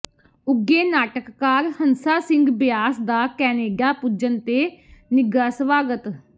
ਉੱਘੇ ਨਾਟਕਕਾਰ ਹੰਸਾ ਸਿੰਘ ਬਿਆਸ ਦਾ ਕੈਨੇਡਾ ਪੁੱਜਣ ਤੇ ਨਿੱਘਾ ਸਵਾਗਤ